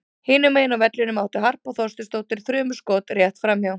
Hinum megin á vellinum átti Harpa Þorsteinsdóttir þrumuskot rétt framhjá.